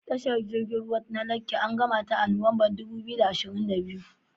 Tashar jirgin ruwa ta Lekki an gamata a Nuwanbar dubu biyu da ashirin da biyu.